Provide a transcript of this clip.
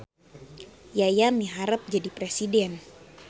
Yaya miharep jadi presiden